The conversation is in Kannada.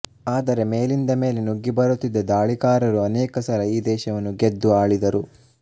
ಆದರೆ ಮೇಲಿಂದ ಮೇಲೆ ನುಗ್ಗಿ ಬರುತ್ತಿದ್ದ ದಾಳಿಕಾರರು ಅನೇಕ ಸಲ ಈ ದೇಶವನ್ನು ಗೆದ್ದು ಆಳಿದರು